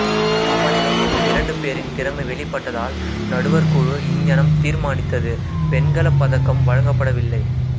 சமநிலையில் இரண்டுபேரின் திறமை வெளிப்பட்டதால் நடுவர்குழு இங்ஙனம் தீர்மானித்தது வெண்கலப்பதக்கம் வழங்கப்படவில்லை